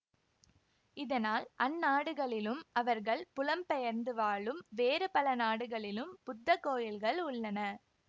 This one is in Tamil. இதனால் அந் நாடுகளிலும் அவர்கள் புலம் பெயர்ந்து வாழும் வேறு பல நாடுகளிலும் புத்த கோயில்கள் உள்ளன